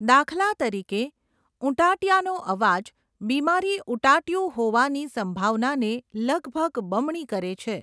દાખલા તરીકે, ઉટાંટીયાનો અવાજ બીમારી ઉટાંટીયું હોવાની સંભાવનાને લગભગ બમણી કરે છે.